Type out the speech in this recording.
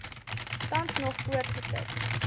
tans nog voortgesit